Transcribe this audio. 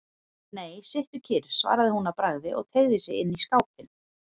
Nei, sittu kyrr, svaraði hún að bragði og teygði sig inn í skápinn.